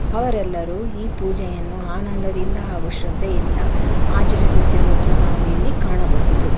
ಅವರೆಲ್ಲರೂ ಈ ಪೂಜೆಯನ್ನು ಆನಂದದಿಂದ ಹಾಗು ಶ್ರದ್ದೆಯಿಂದ ಆಚರಿಸುತ್ತಿರುವುದನ್ನು ನಾವು ಇಲ್ಲಿ ಕಾಣಬಹುದು.